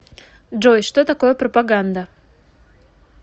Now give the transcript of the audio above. джой что такое пропаганда